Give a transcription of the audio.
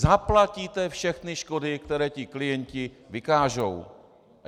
Zaplatíte všechny škody, které ti klienti vykážou.